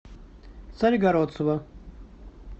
царегородцева